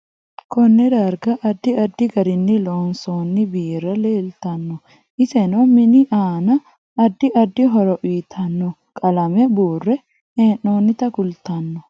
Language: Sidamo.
Konne darga addi addi garinni loonsooni biirra leeltaanno ise noo mini aanna addi addi horo uyiitanno qalame buurre heenoonita kultanno